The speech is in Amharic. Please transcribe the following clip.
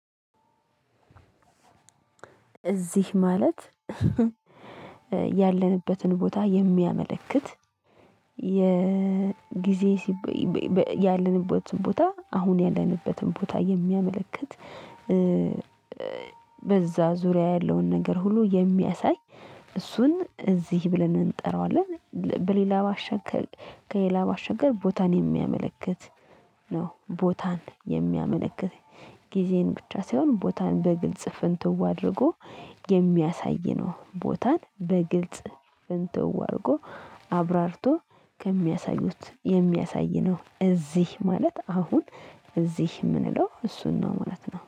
እዚህ ማለት ያለንበትን ቦታ የሚያመለክት የጊዜ ያለንበትን ቦታ አሁን ያለንበትን ቦታ የሚያመለክት በዛ ዙሪያ ያለውን ነገር ሁሉ የሚያሳይ እሱን እዚህ ብለን እንጠራዋለን። በሌላ ማሻገር ከሌላ ማሻገር ቦታን የሚያመለክት ነው። ቦታን የሚያመለክት ጊዜን ብቻ ሳይሆን ቦታን በግልጽ ፍንትው አድርጎ የሚያሳይ ነው ቦታን በግልጽ ፍንትው አድርጎ አብራርቶ ከሚያሳዩት የሚያሳይ ነው እዚህ ማለት አሁን እዚህ የምንለው እሱን ነው ማለት ነው።